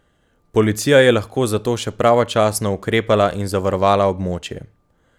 Policija je lahko zato še pravočasno ukrepala in zavarovala območje.